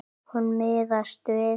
Hún miðast við.